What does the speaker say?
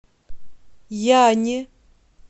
яне